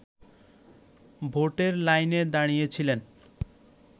ভোটের লাইনে দাঁড়িয়েছিলেন